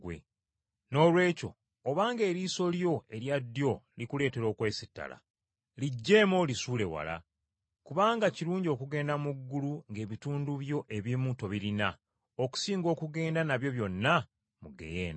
Noolwekyo obanga eriiso Lyo erya ddyo likuleetera okwesittala, liggyeemu olisuule wala. Kubanga kirungi okugenda mu ggulu ng’ebitundu byo ebimu tobirina okusinga okugenda nabyo byonna mu ggeyeena.